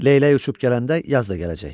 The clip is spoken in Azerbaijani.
Leylək uçub gələndə yaz da gələcək.